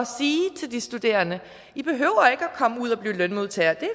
sige til de studerende i behøver ikke at komme ud og blive lønmodtagere det er